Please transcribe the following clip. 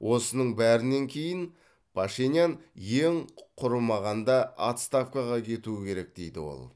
осының бәрінен кейін пашинян ең құрымағанда отставкаға кетуі керек дейді ол